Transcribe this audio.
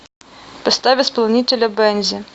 поставь исполнителя бензи